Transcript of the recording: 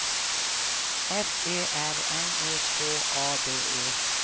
F Ö R N E K A D E